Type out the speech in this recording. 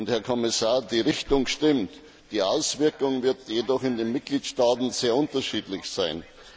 Herr Kommissar, die Richtung stimmt, die Auswirkungen werden jedoch in den Mitgliedstaaten sehr unterschiedlich sein.